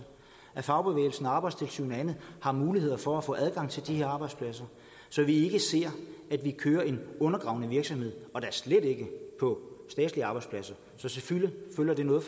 at fagbevægelsen og arbejdstilsynet og andet har muligheder for at få adgang til de her arbejdspladser så vi ikke ser at der kører en undergravende virksomhed og da slet ikke på statslige arbejdspladser så selvfølgelig fylder det noget